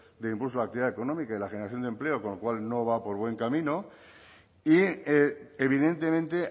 del impulso a la actividad económica y la generación de empleo con lo cual no va por buen camino y evidentemente